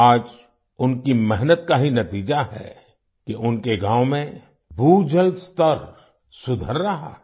आज उनकी मेहनत का ही नतीजा है कि उनके गाँव में भूजल स्तर सुधर रहा है